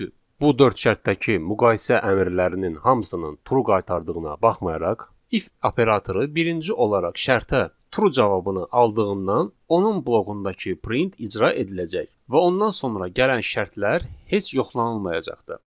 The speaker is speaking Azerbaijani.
Çünki bu dörd şərtdəki müqayisə əmrlərinin hamısının true qaytardığına baxmayaraq, if operatoru birinci olaraq şərtə true cavabını aldığından, onun bloğundakı print icra ediləcək və ondan sonra gələn şərtlər heç yoxlanılmayacaqdır.